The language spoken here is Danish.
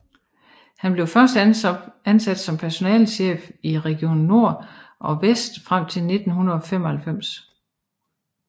Han blev først ansat som personalechef i Region Nord og Vest frem til 1995